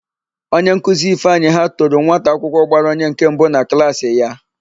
Onyenkuzi Ifeanyị ha toro nwataakwụkwọ gbara onye nke mbụ na klaasị ya.